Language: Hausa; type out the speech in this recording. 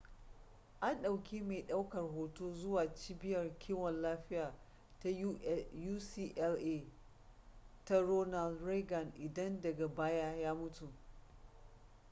an ɗauki mai ɗaukar hoto zuwa cibiyar kiwon lafiya ta ucla ta ronald reagan idan daga baya ya mutu